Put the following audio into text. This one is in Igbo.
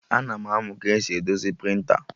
Ana m amụ ka esi edozi prịnta